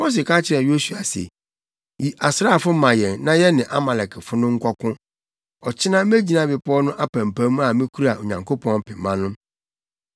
Mose ka kyerɛɛ Yosua se, “Yi asraafo ma yɛn na yɛne Amalekfo no nkɔko. Ɔkyena megyina bepɔw no apampam a mikura Onyankopɔn pema no.”